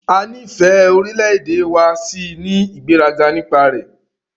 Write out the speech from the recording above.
A nífẹ̀ẹ́ orílẹ̀-èdè wa a sì ní ìgbéraga nípa rẹ̀.